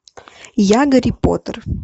я гарри поттер